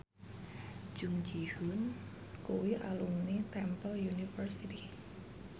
Jung Ji Hoon kuwi alumni Temple University